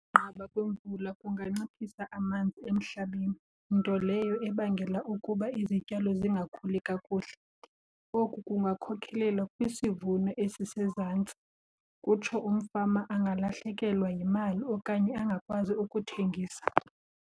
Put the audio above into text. kwemvula kunganciphisa amanzi emhlabeni, nto leyo ebangela ukuba izityalo zingakhuli kakuhle. Oku kungakhokelela kwisivuno esisezantsi kutsho umfama angalahlekelwa yimali okanye angakwazi ukuthengisa.